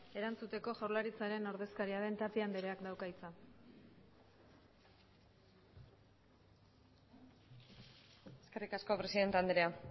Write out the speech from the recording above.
erantzuteko jaurlaritzaren ordezkaria den tapia andreak dauka hitza eskerrik asko presidente andrea